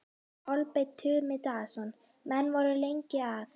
Kolbeinn Tumi Daðason: Menn voru lengi að?